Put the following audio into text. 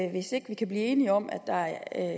i hvis ikke vi kan blive enige om at der er